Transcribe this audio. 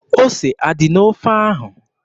Ose adị n'ofe ahụ?